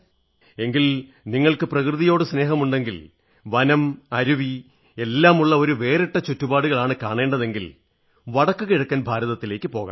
എങ്കിലും നിങ്ങൾക്ക് പ്രകൃതിയോടു സ്നേഹമുണ്ടെങ്കിൽ വനം അരുവി എല്ലാമുള്ള ഒരു വേറിട്ട ചുറ്റുപാടുകളാണ് കാണേണ്ടതെങ്കിൽ വടക്കു കിഴക്കൻ ഭാരതത്തിലേക്കു പോകണം